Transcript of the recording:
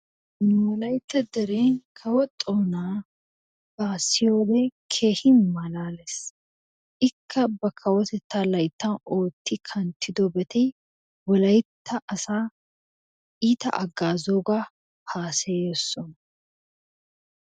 NU wolittaa deree kawo xonna ba siyoyowode kehi malalles, ikka ba kawotetttaa layttan otri kanttidobaatri wolaytta assa ittaa hagazogaa hasayees.